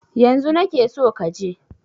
Yanzu na ke so ka je!